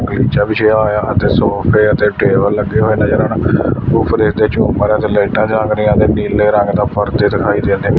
ਮੰਜਾ ਵਿਛਿਆ ਹੋਇਆ ਅਤੇ ਸੋਫੇ ਅਤੇ ਟੇਬਲ ਲੱਗੇ ਹੋਏ ਨਜ਼ਰ ਆਣ ਉਪਰ ਝੁੰਮਰ ਅਤੇ ਲਾਈਟਾਂ ਜਲ ਰਹੀਆਂ ਹਨ ਨੀਲੇ ਰੰਗ ਦਾ ਪਰਦੇ ਦਿਖਾਈ ਦਿੰਦੇ--